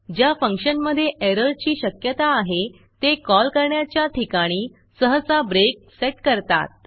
ज्या फंक्शनमधे एररची शक्यता आहे ते कॉल करण्याच्या ठिकाणी सहसा ब्रेक सेट करतात